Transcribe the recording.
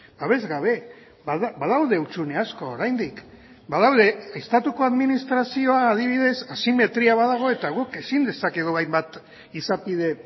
babesgabe badaude hutsune asko oraindik badaude estatuko administrazioa adibidez asimetria badago eta guk ezin dezakegu hainbat izapide